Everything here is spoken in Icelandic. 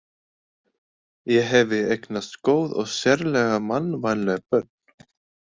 Ég hefi eignast góð og sérlega mannvænleg börn.